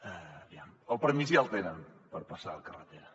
aviam el permís ja el tenen per passar la carretera